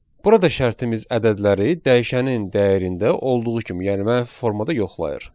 Burada şərtimiz ədədləri dəyişənin dəyərində olduğu kimi, yəni mənfi formada yoxlayır.